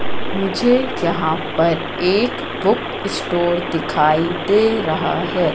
मुझे यहां पर एक बुक स्टोर दिखाई दे रहा है।